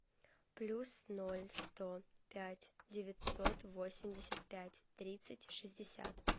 плюс ноль сто пять девятьсот восемьдесят пять тридцать шестьдесят